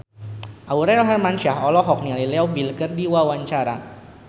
Aurel Hermansyah olohok ningali Leo Bill keur diwawancara